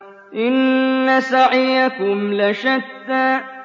إِنَّ سَعْيَكُمْ لَشَتَّىٰ